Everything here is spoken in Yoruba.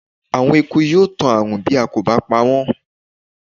Àwọn ekun yóò tan ààrùn bí a kò bá pawọ́n